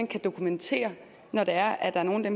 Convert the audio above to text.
kan dokumentere når der er nogle af